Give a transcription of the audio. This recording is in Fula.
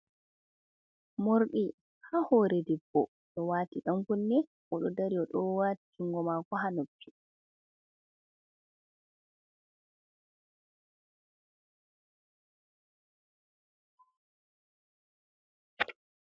Morɗi ha hore debbo, ɗo wati ɗankunne, oɗo dari owati jungo mako ha nobbi.